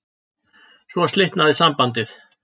Svo slitnaði sambandið